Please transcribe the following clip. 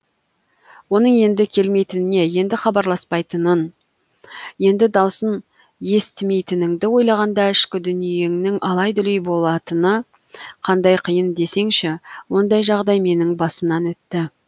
оның енді келмейтініне енді хабарласпайтынын енді даусын естімейтініңді ойлағанда ішкі дүниеңнің алай дүлей болатыны қандай қиын десеңші ондай жағдай менің басымнан өтті